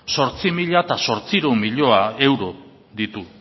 zortzi mila zortziehun milioi euro ditu